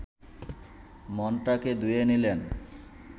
মনটাকে ধুয়ে নিলেন